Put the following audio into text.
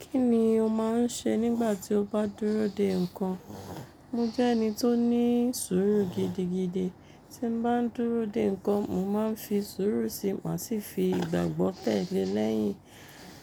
Kí ni o máa ń ṣe nígbà tí o bá dúró de nǹkan? Mo jẹ́ ẹni tó ní sùúrù gidigidi. Tí mo bá ń dúró de nǹkan, mo máa ń fi sùúrù sí i má sì fi ìgbàgbọ́ tẹ̀ lé e lẹ́yìn